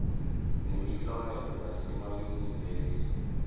nemiklomelo yasema yunivesi